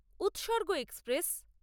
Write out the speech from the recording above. উৎসর্গ এক্সপ্রেস